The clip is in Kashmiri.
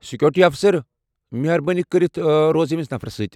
سیکیورٹی افسر، مہربٲنی کٔرتھ روز ییٚمس نفرس سۭتۍ ۔